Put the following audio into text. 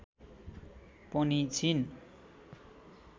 पनि छिन्